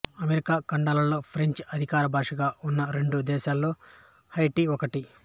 America ఖండాలలో ఫ్రెంచి అధికార భాషగా ఉన్న రెండు దేశాలలో హైటీ ఒకటి